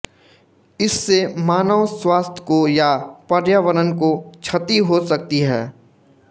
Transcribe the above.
इससे मानव स्वास्थ्य को या पर्यावरण को क्षति हो सकती है